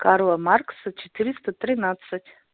карла маркса четыреста тринадцать